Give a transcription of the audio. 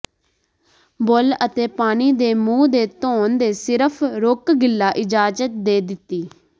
ਬੁੱਲ੍ਹ ਅਤੇ ਪਾਣੀ ਦੇ ਮੂੰਹ ਦੇ ਧੋਣ ਦੇ ਸਿਰਫ ਰੁਕ ਗਿੱਲਾ ਇਜਾਜ਼ਤ ਦੇ ਦਿੱਤੀ